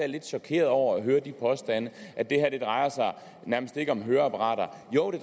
lidt chokeret over at høre de påstande at det her nærmest ikke om høreapparater jo det